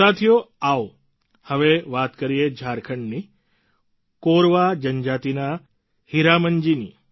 સાથીઓ આવો હવે વાત કરીએ ઝારખંડની કોરવા જનજાતિના હીરામનજી ની